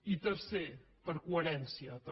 i tercer per coherència també